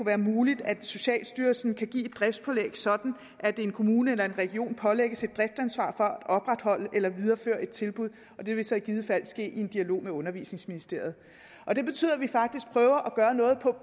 være muligt at socialstyrelsen kan give et driftspålæg sådan at en kommune eller en region pålægges et driftansvar for at opretholde eller videreføre et tilbud det vil så i givet fald ske i en dialog med undervisningsministeriet det betyder at vi faktisk prøver